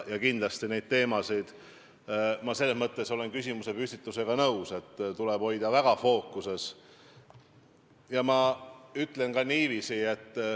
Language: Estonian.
Kindlasti tuleb neid teemasid – ma olen selles mõttes küsimuse püstitusega nõus – hoida fookuses.